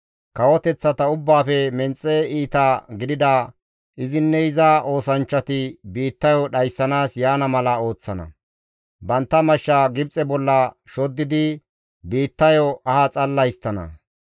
Kawoteththata ubbaafe menxe iita gidida izinne iza oosanchchati biittayo dhayssanaas yaana mala ooththana; bantta mashsha Gibxe bolla shoddidi biittayo aha xalla histtana.